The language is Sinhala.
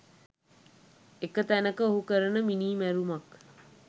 එක තැනක ඔහු කරන මිනීමැරුමක්